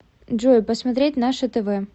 джой посмотреть наше тв